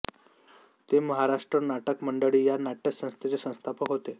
ते महाराष्ट्र नाटक मंडळी या नाट्यसंस्थेचे संस्थापक होते